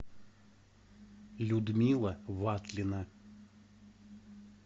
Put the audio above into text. людмила ватлина